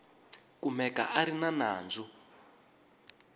kumeka a ri na nandzu